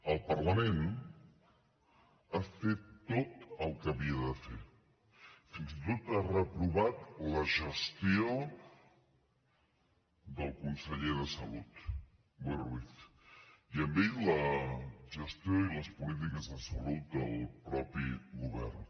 el parlament ha fet tot el que havia de fer fins i tot ha reprovat la gestió del conseller de salut boi ruiz i amb ell la gestió i les polítiques de salut del mateix govern